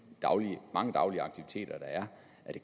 mange daglige aktiviteter der er